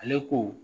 Ale ko